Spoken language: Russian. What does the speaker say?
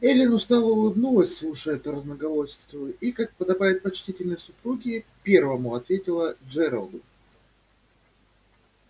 эллин устало улыбнулась слушая эту разноголосицу и как подобает почтительной супруге первому ответила джералду